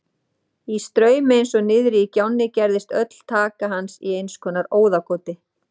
Í straumi eins og niðri í gjánni gerðist öll taka hans í einskonar óðagoti.